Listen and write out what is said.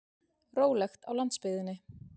Rólegt á landsbyggðinni